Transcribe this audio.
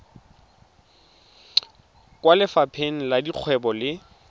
kwa lefapheng la dikgwebo le